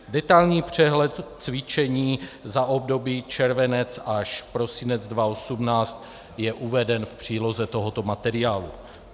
Detailní přehled cvičení za období červenec až prosinec 2018 je uveden v příloze tohoto materiálu.